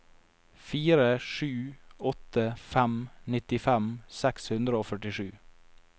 fire sju åtte fem nittifem seks hundre og førtisju